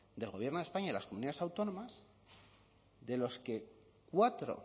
del gobierno de españa y las comunidades autónomas de los que cuatro